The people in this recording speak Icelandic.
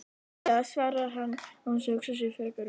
Fljótlega, svarar hann án þess að hugsa sig frekar um.